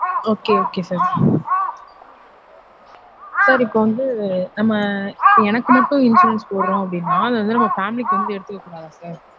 Okay okay sir sir இப்ப வந்து நம்ம எனக்கு மட்டும் insurance போட்றொம் அப்டினா அது வந்து நம்ம family க்கு வந்து எடுத்துக்ககூடாதா sir?